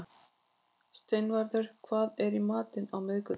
Steinvarður, hvað er í matinn á miðvikudaginn?